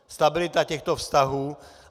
Stabilita těchto vztahů.